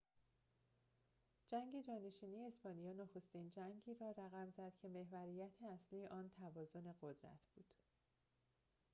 جنگ جانشینی اسپانیا نخستین جنگی را رقم زد که محوریت اصلی آن توازن قدرت بود